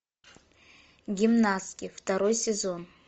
гимнастки второй сезон